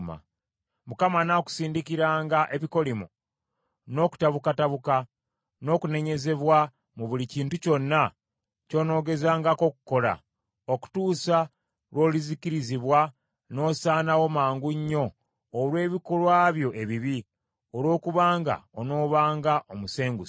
Mukama anaakusindikiranga ebikolimo, n’okutabukatabuka, n’okunenyezebwa mu buli kintu kyonna ky’onoogezangako okukola, okutuusa lw’olizikirizibwa n’osaanawo mangu nnyo olw’ebikolwa byo ebibi, olwokubanga onoobanga omusenguse.